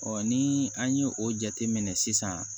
ni an ye o jate minɛ sisan